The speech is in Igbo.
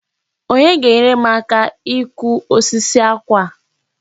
Onye ga-enyere m aka ikụ osisi àkwà a?